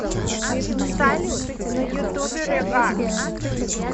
салют на ютубе регард